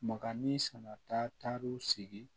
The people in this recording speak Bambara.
Makani sanatar'u sigi